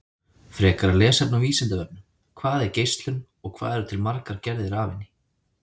Frekara lesefni á Vísindavefnum: Hvað er geislun og hvað eru til margar gerðir af henni?